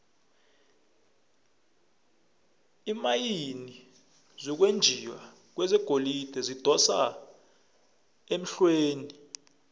iimayini zokwenjiwa kwegolide zidosa emhlweni